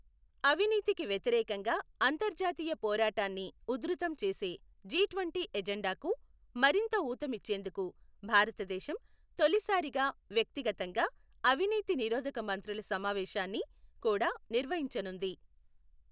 అవినీతికి వ్యతిరేకంగా అంతర్జాతీయ పోరాటాన్ని ఉధృతం చేసే జీ ట్వంటీ ఎజెండాకు మరింత ఊతమిచ్చేందుకు భారతదేశం తొలిసారిగా వ్యక్తిగతంగా అవినీతి నిరోధక మంత్రుల సమావేశాన్ని కూడా నిర్వహించనుంది.